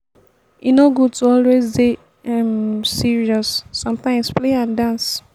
e no good to always dey um serious sometimes play and dance